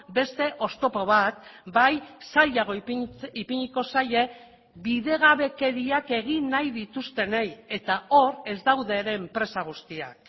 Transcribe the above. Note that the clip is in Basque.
beste oztopo bat bai zailago ipiniko zaie bidegabekeriak egin nahi dituztenei eta hor ez daude ere enpresa guztiak